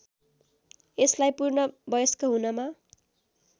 यसलाई पूर्ण वयस्क हुनमा